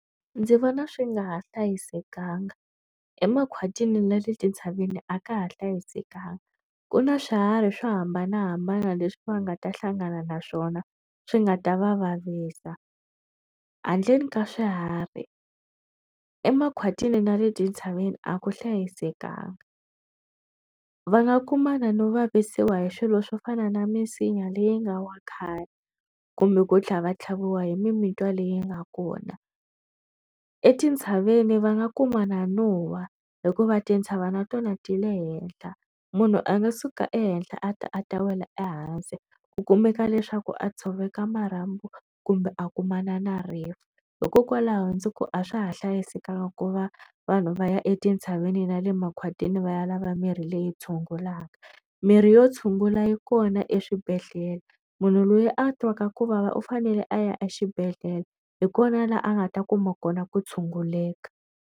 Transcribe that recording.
Ndzi vona swi nga ha hlayisekanga emakhwatini na le tintshaveni a ka ha hlayisekanga ku na swiharhi swo hambanahambana leswi va nga ta hlangana na swona swi nga ta va vavisa handleni ka swiharhi emakhwatini na le tintshaveni a ku hlayisekanga va nga kumana no vavisiwa hi swilo swo fana na misinya leyi nga wa khale kumbe ku tlha va tlhaviwa hi mimitwa leyi nga kona. Etintshaveni va nga kuma na nuhwa hikuva tintshava na tona ti le henhla munhu a nga suka ehenhla a ta a ta wela ehansi ku kumeka leswaku a tshoveka marhambu kumbe a kumana na rive hikokwalaho ndzi ku a swa ha hlayisekanga ku va vanhu va ya etintshaveni na le makhwatini va ya lava mirhi leyi tshungulaka mirhi yo tshungula yi kona eswibedhlele munhu loyi a twaka ku vava u fanele a ya exibedhlele hi kona laha a nga ta kuma kona ku tshunguleka.